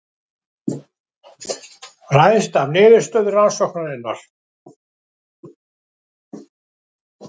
Ræðst af niðurstöðu rannsóknarinnar